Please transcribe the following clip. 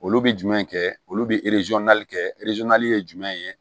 Olu bɛ jumɛn kɛ olu bɛ kɛ ye jumɛn ye